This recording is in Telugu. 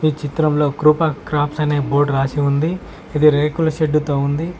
ఈ చిత్రంలో కృప స్క్రాప్స్ అనే బోర్డు రాసి ఉంది ఇది రేకుల షెడ్డు తో ఉంది.